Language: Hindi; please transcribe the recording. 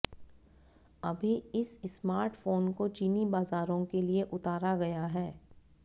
अभी इस स्मार्टफोन को चीनी बाजारों के लिए उतारा गया है